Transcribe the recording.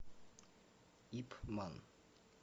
ип ман